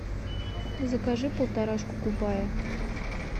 закажи полторашку кубая